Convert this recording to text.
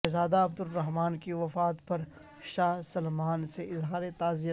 شہزادہ عبدالرحمن کی وفات پر شاہ سلمان سے اظہار تعزیت